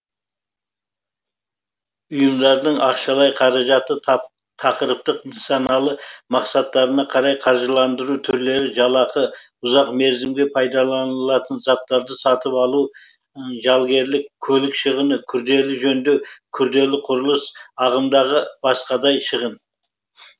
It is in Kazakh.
ұйымдардың ақшалай қаражаты тақырыптық нысаналы мақсаттарына қарай қаржыландыру түрлері жалақы ұзақ мерзімге пайдаланылатын заттарды сатып алу жалгерлік көлік шығыны күрделі жөндеу күрделі құрылыс ағымдағы басқадай шығын